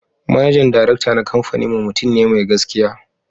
Manajan Darakta na kamfaninmu mutum ne mai gaskiya